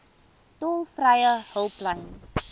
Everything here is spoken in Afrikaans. tolvrye hulplyn